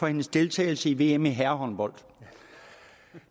for hendes deltagelse i vm i herrehåndbold